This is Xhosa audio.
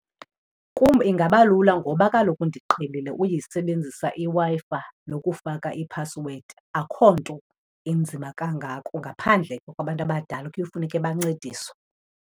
Kum ingaba lula ngoba kaloku ndiqhelile uyisebenzisa iWi-Fi nokufaka iphasiwedi. Akukho nto inzima kangako ngaphandle kwabantu abadala kuyofuneke bancediswe.